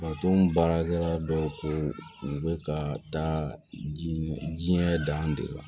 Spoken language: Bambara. baarakɛla dɔw ko u bɛ ka taa jiɲɛ dan de la